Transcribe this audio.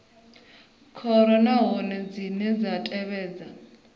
khoro nahone dzine dza tevhedza